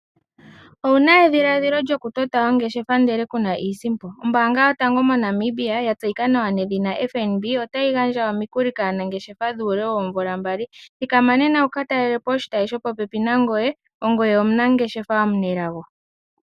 Owuna edhiladhilo lyokutota ongeshefa ndele kuna iisimpo. Ombaanga yotango mo Namibia ya tseyika nawa nedhina FNB otayi gandja omikuli kaanangeshefa dhuule woomvula mbali , thikama nena wu ka talelepo oshitayi sho popepi nangoye, ongoye omunangeshefa omunelago.